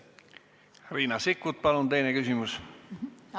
Riina Sikkut, palun teine küsimus!